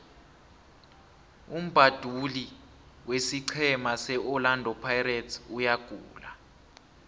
umbabduli wesiqhema se orlando pirates uyagula